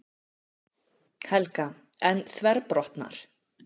Helga: En þverbrotnar?